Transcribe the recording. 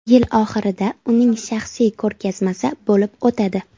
Yil oxirida uning shaxsiy ko‘rgazmasi bo‘lib o‘tadi.